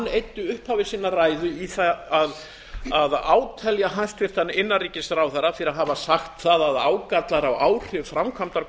eyddi upphafi sinnar ræðu í það að átelja hæstvirtur innanríkisráðherra fyrir að hafa sagt það að ágallar á áhrif framkvæmdar